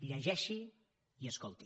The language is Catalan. llegeixi i escolti